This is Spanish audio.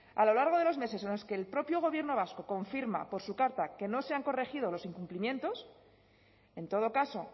a lo largo de los meses en los que el propio gobierno vasco confirma por su carta que no se han corregido los incumplimientos en todo caso